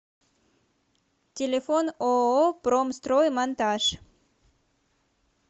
телефон ооо промстроймонтаж